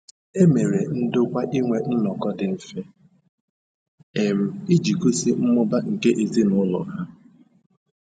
E mere ndokwa inwe nnọkọ dị mfe um iji gosi mmụba nke ezinụlọ ha.